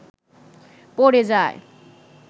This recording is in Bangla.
পড়ে যায়